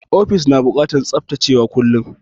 Ofis da na bukatan tsaftacewa kullum.